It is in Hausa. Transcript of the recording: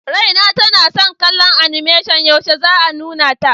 Raina tana son kallon animation, yaushe za a nuna ta?